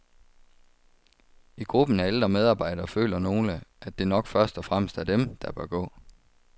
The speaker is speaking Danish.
I gruppen af ældre medarbejdere føler nogle, at det nok først og fremmest er dem, der bør gå.